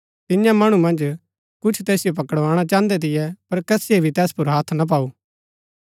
तियां मणु मन्ज कुछ तैसिओ पकड़वाणा चाहन्दै थियै पर कसीये भी तैस पुर हथ ना पाऊ